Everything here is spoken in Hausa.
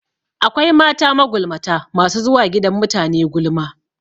Akwai mata magulmata masu zuwa gidan mutane gulma